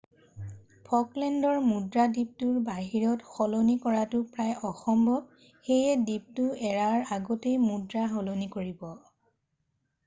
ফকলেণ্ডৰ মুদ্ৰা দ্বীপটোৰ বাহিৰত সলনি কৰাটো প্ৰায় অসম্ভৱ সেয়ে দ্বীপটো এৰাৰ আগতেই মুদ্ৰা সলনি কৰিব